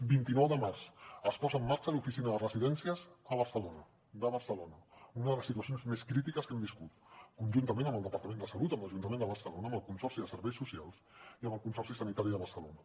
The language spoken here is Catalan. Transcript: vint nou de març es posa en marxa l’oficina de residències de barcelona una de les situacions més crítiques que hem viscut conjuntament amb el departament de salut amb l’ajuntament de barcelona amb el consorci de serveis socials i amb el consorci sanitari de barcelona